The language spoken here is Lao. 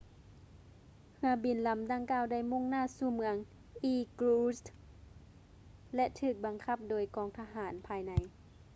ເຮືອບິນລຳດັ່ງກ່າວໄດ້ມຸ່ງໜ້າສູ່ເມືອງ irkutsk ແລະ ຖືກບັງຄັບໂດຍກອງທະຫານພາຍໃນ